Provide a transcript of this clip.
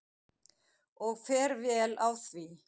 Og fer vel á því.